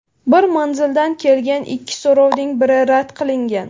Bir manzildan kelgan ikki so‘rovning biri rad qilingan.